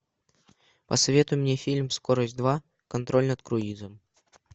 посоветуй мне фильм скорость два контроль над круизом